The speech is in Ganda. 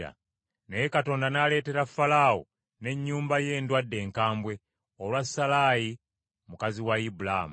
Naye Mukama n’aleetera Falaawo n’ennyumba ye endwadde enkambwe olwa Salaayi mukazi wa Ibulaamu.